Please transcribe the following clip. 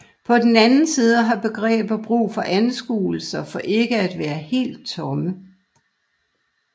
På den anden side har begreber brug for anskuelser for ikke at være helt tomme